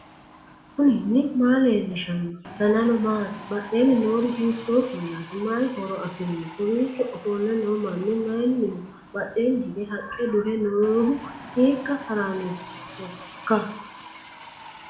knuni maa leellishanno ? danano maati ? badheenni noori hiitto kuulaati ? mayi horo afirino ? kowiicho ofolle noo manni mayinniho badhenni hige haqqe duhe noohu hiikka harannohoiika